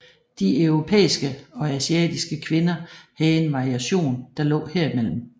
De europæiske og asiatiske kvinder havde en variation der lå herimellem